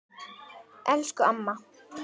Elsku amma!